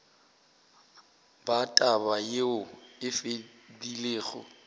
ba taba yeo e fedilego